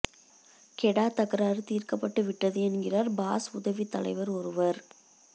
கெடா தகராறு தீர்க்கப்பட்டு விட்டது என்கிறார் பாஸ் உதவித் தலைவர் ஒருவர்